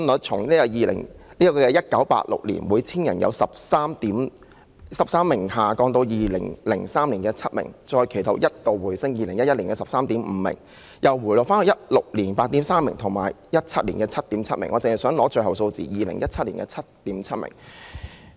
本地出生率由1986年的每 1,000 人有13名嬰兒，下降至2003年的7名，其後一度回升至2011年的 13.5 名，至2016年又回落到 8.3 名，以及2017年的 7.7 名。